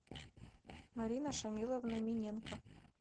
марина шамиловна миненко